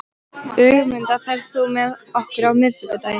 Ögmunda, ferð þú með okkur á miðvikudaginn?